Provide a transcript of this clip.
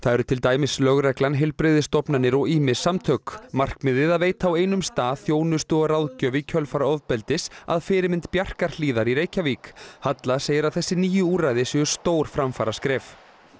eru til dæmis lögreglan heilbrigðisstofnanir og ýmis samtök markmiðið að veita á einum stað þjónustu og ráðgjöf í kjölfar ofbeldis að fyrirmynd Bjarkarhlíðar í Reykjavík halla segir að þessi nýju úrræði séu stór framfaraskref